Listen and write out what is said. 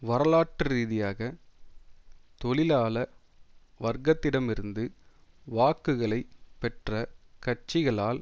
வரலாற்று ரீதியாக தொழிலாள வர்க்கத்திடமிருந்து வாக்குகளை பெற்ற கட்சிகளால்